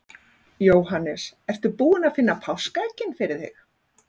Jóhannes: Ertu búin að finna páskaeggin fyrir þig?